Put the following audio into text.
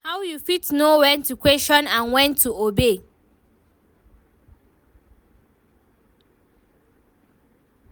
how you fit know when to question and when to obey?